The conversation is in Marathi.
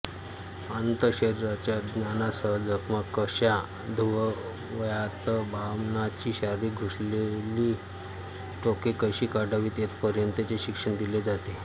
अंतःशरीराच्या ज्ञानासह जखमा कशा धुवाव्यातबाणाची शरीरात घुसलेली टोके कशी काढावीत येथपर्यंतचे शिक्षण दिले जात असे